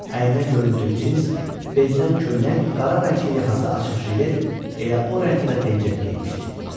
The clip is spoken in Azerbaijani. Əyninə göyümtül cins bezdən köynək, qara rəngli yaxası açıq jilet, elə o rəngdə də pencək geymişdi.